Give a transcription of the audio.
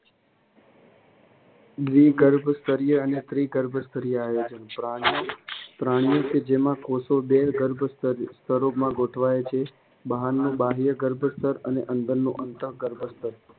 દ્વિગર્ભસ્તરીય અને ત્રિગર્ભસ્તરીય આયોજન પ્રાણીઓ કે જેમાં કોષો બે ગર્ભીયસ્તરોમાં ગોઠવાય છે. બહારનું બાહ્યગર્ભસ્તર અને અંદરનું અંતઃ ગર્ભસ્તર